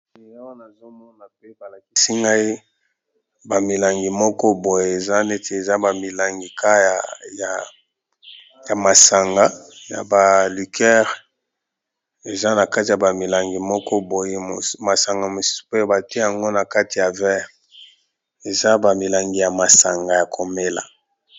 Awa nazomona pe balakisi ngai ba milangi moko boye eza neti eza ba milangi ya masanga ya ba liqueur masanga mosusu eza nakati ya verre eza ba milangi ya masanga ya komela